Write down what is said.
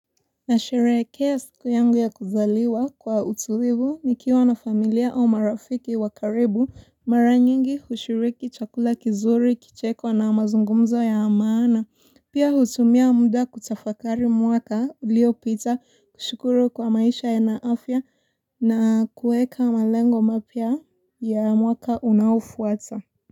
Nasherehekea siku yangu ya kuzaliwa kwa utulivu nikiwa na familia au marafiki wa karibu mara nyingi hushiriki chakula kizuri kicheko na mazungumzo ya maana pia hutumia mda kutafakari mwaka uliopita kushukuru kuwa maisha yana afya na kueka malengo mapya ya mwaka unaofuata.